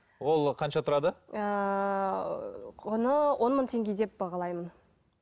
ол қанша тұрады ыыы құны он мың теңге деп бағалаймын